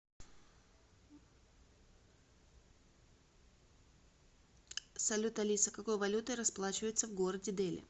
салют алиса какой валютой расплачиваются в городе дели